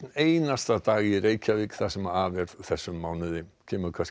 einasta dag í Reykjavík það sem af er þessum mánuði